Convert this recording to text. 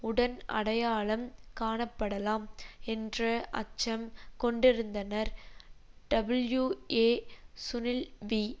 உடன் அடையாளம் காணப்படலாம் என்ற அச்சம் கொண்டிருந்தனர் டபுள்யூ ஏ சுனில் வி